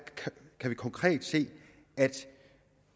kan vi konkret se at